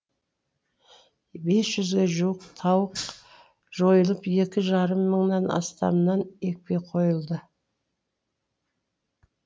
бес жүзге жуық тауық жойылып екі жарым мыңнан астамынан екпе қойылды